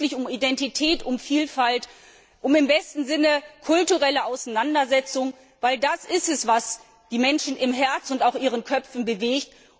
Es geht wirklich um Identität, um Vielfalt, um im besten Sinne kulturelle Auseinandersetzung, denn das ist es, was die Menschen im Herzen und auch in ihren Köpfen bewegt.